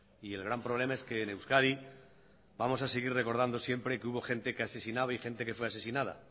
el gran problema es que en euskadi vamos a seguir recordando siempre que hubo gente que asesinaba y gente que fue asesinada